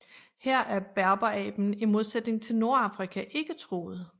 Her er berberaben i modsætning til i Nordafrika ikke truet